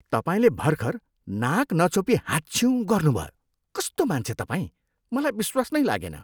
तपाईँले भर्खर नाक नछोपी हाँच्छ्युँ गर्नुभयो, कस्तो मान्छे तपाईँ! मलाई विश्वास नै लागेन।